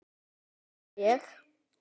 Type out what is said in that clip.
öskra ég.